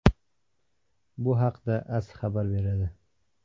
Bu haqda AS xabar beradi .